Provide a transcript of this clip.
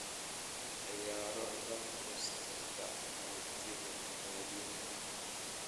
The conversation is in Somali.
ciyaaro podcast-ka aragtida muwaadinka